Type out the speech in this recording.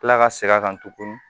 Kila ka segin kan tuguni